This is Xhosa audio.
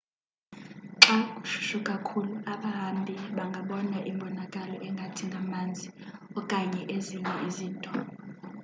xa kushushu kakhulu abahambi bangabona imbonakalo engathi ngamanzi okanye ezinye izinto